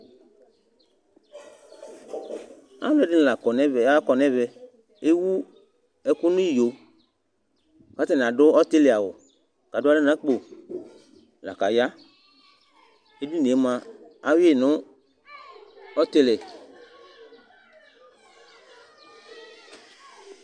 Aluɛdini la kɔ n'ɛvɛ, akɔ n'ɛvɛ, ewu ɛku n'iyo, k'atani adu ɔtili awù k'adu aɣla n'akpo la k'aya, edinie mua awui n'ɔtili